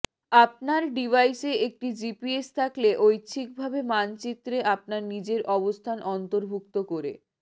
আপনার ডিভাইসে একটি জিপিএস থাকলে ঐচ্ছিকভাবে মানচিত্রে আপনার নিজের অবস্থান অন্তর্ভুক্ত করে